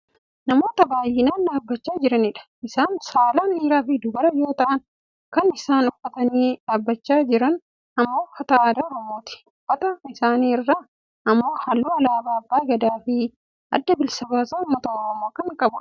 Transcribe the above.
Namoota baayyinaan dhaabbachaa jiranidha. Isaani saalaan dhiiraafi dubara yoo ta'an kan isaan uffatanii dhaabbachaa jiran ammoo uffata aadaa oromooti. Uffata isaanii irraa ammoo halluu alaabaa abbaa Gadaa fi Adda Bilisa baasaa ummata Oromoo kan qabanidha.